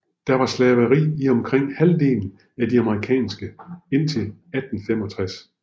Der var slaveri i omkring halvdelen af de amerikanske indtil 1865